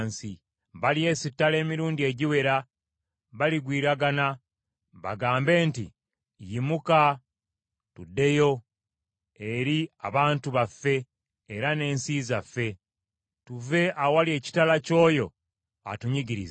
Balyesittala emirundi egiwera; baligwiragana. Bagambe nti, ‘Yimuka, tuddeyo eri abantu baffe era n’ensi zaffe, tuve awali ekitala ky’oyo atunyigiriza.’